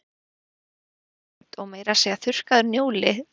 Þarna voru jurtir og krydd og meira að segja þurrkaður njóli